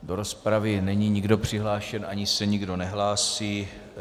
Do rozpravy není nikdo přihlášen ani se nikdo nehlásí.